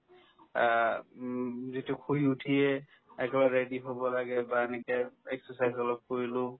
আ, উম যিটো শুই উঠিয়ে একেবাৰে ready হ'ব লাগে বা এনেকে exercise অলপ কৰিলো